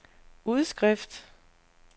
udskrift